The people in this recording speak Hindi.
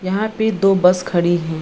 यहाँ पे दो बस खड़ी है।